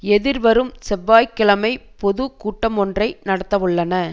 எதிர்வரும் செய்வாய்க்கிழமை பொது கூட்டமொன்றை நடத்தவுள்ளன